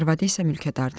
Arvadı isə mülkədardır.